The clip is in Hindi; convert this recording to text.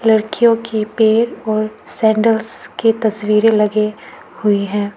लड़कियों की पैर और सैंडल्स की तस्वीरे लगे हुई है।